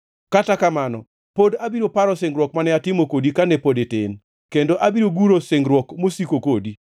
Kata kamano, pod abiro paro singruok mane atimo kodi kane pod itin, kendo abiro guro singruok mosiko kodi.